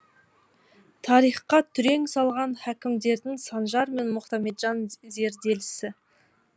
тарихқа түрен салған хакімдердіңсанжар мен мұхамеджан зерделісі